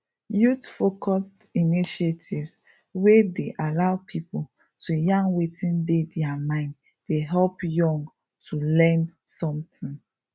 youthfocused initiatives wey dey allow people to yarn wetin dey their mind dey help young to learn something